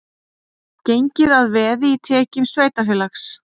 Gengið að veði í tekjum sveitarfélags